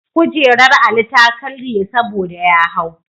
Kujerar Ali ta karye saboda ya hau.